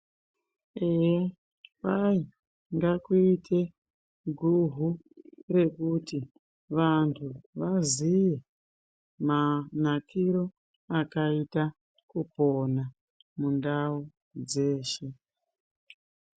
Eya kwai ngakuite guhu rekuti vanthu vaziye manakiro akaita kupona mundau dzeshe.